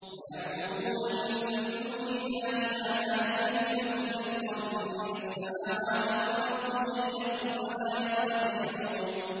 وَيَعْبُدُونَ مِن دُونِ اللَّهِ مَا لَا يَمْلِكُ لَهُمْ رِزْقًا مِّنَ السَّمَاوَاتِ وَالْأَرْضِ شَيْئًا وَلَا يَسْتَطِيعُونَ